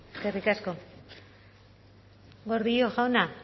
eskerrik asko gordillo jauna